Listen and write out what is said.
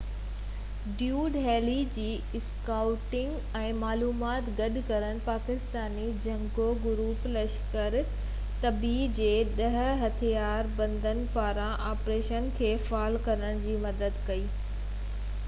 David Headley جي scouting ۽ معلومات گڏ ڪرڻ پاڪستاني جنگجو گروپ لشڪر-اي طيبه جي 10 هٿيار بندن پاران آپريشن کي فعال ڪرڻ ۾ مدد ڪئي